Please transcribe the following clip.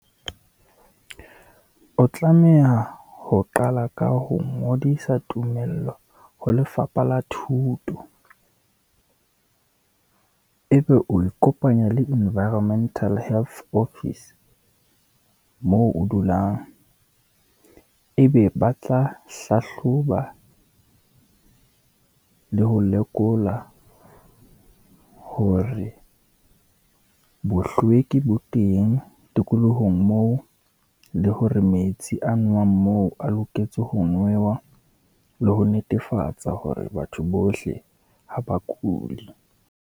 O tlameha ho qala ka ho ngodisa tumello ho lefapha la thuto, e be o ikopanya le environmental health office moo o dulang, ebe ba tla hlahloba le ho lekola hore bohlweki bo teng tikolohong moo, le hore metsi a nowang moo a loketse ho newa, le ho netefatsa hore batho bohle ha ba kuli.